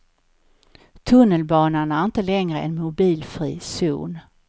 Tunnelbanan är inte längre en mobilfri zon.